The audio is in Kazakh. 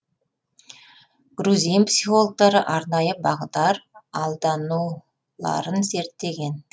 грузин психологтары арнайы бағдар алдануларын зерттеген